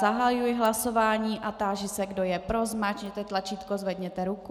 Zahajuji hlasování a táži se, kdo je pro, zmáčkněte tlačítko, zvedněte ruku.